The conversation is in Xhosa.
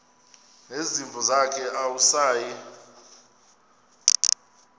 nezimvu zakhe awusayi